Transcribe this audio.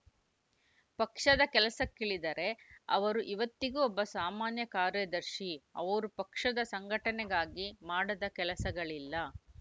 ಪಕ್ಷದ ಕೆಲಸಕ್ಕಿಳಿದರೆ ಅವರು ಇವತ್ತಿಗೂ ಒಬ್ಬ ಸಾಮಾನ್ಯ ಕಾರ್ಯದರ್ಶಿ ಅವರು ಪಕ್ಷದ ಸಂಘಟನೆಗಾಗಿ ಮಾಡದ ಕೆಲಸಗಳಿಲ್ಲ